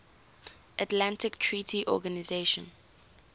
atlantic treaty organisation